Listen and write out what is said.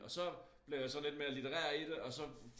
Og så blev jeg så lidt mere litterær i det og så